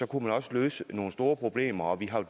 kunne man også løse nogle store problemer vi har